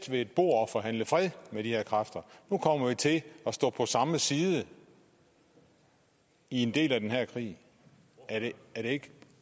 ved et bord og forhandle om fred med de her kræfter nu kommer vi til at stå på samme side i en del af den her krig er det ikke